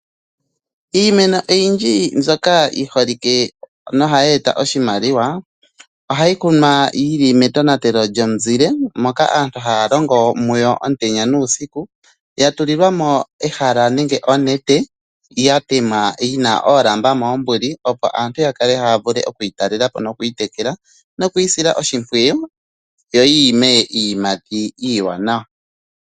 Iimeno oyindji mbyoka yi holike nohayi eta oshimaliwa ohayi kunwa yi li metonatelo lyomuzile, moka aantu haya longo muyo omutenya nuusiku, ya tulilwa mo ehala nenge oonete ya tema yi na oolamba moombuli, opo aantu ya vule oku yi talela po nokuyi sila oshimpwiyu, yo yi ime iiyimati iiwanawa.